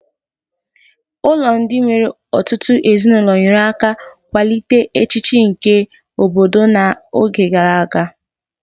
Ụlọ ndị nwere ọtụtụ ezinụlọ nyere aka kwalite echiche nke obodo na oge gara aga